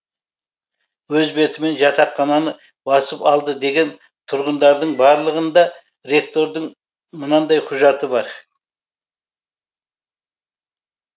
өз бетімен жатақхананы басып алды деген тұрғындардың барлығында ректордың мынандай құжаты бар